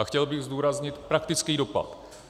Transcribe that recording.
A chtěl bych zdůraznit praktický dopad.